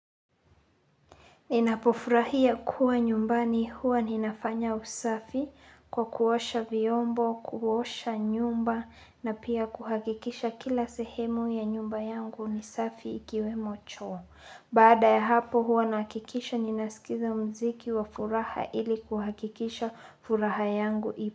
Ninapofurahia kuwa nyumbani huwa ninafanya usafi kwa kuosha viombo, kuosha nyumba na pia kuhakikisha kila sehemu ya nyumba yangu ni safi ikiwemo choo. Baada ya hapo huwa nahakikisha ninaskiza mziki wa furaha ili kuhakikisha furaha yangu ipo.